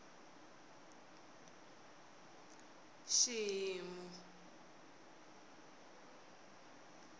xihimu